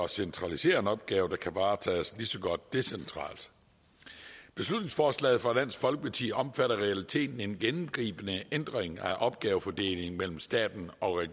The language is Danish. centralisere en opgave der kan varetages lige så godt decentralt beslutningsforslaget fra dansk folkeparti omfatter i realiteten en gennemgribende ændring af opgavefordelingen mellem staten og